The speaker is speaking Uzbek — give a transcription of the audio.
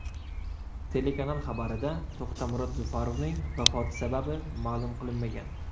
Telekanal xabarida To‘xtamurod Zufarovning vafoti sababi ma’lum qilinmagan.